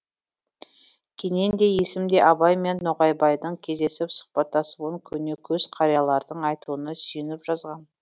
кенен де есім де абай мен ноғайбайдың кездесіп сұхбаттасуын көне көз қариялардың айтуына сүйеніп жазған